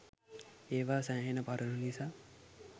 ඒවා සෑහෙන පරණ නිසා